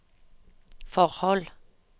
forhold